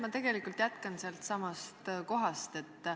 Ma tegelikult jätkan sealtsamast kohast.